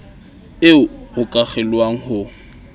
eo ho ka kgelohwang ho